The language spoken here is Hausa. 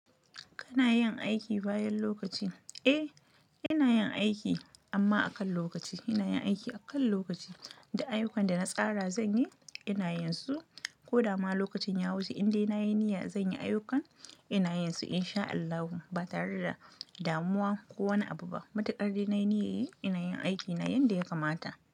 Kana yin aiki bayan lokaci? Eh, ina yin aiki amma akan lokaci. Ina yin aiki akan lokaci duk ayyukan da na tsara zanyi ina yin su koda ma lokacin ya wuce in dai nayi niyya zan yi ayyukan ina yin su in sha Allahu ba tare da damuwa ko wani abu ba matuƙar dai nai niyyan yi ina yin aiki na yanda ya kama ta.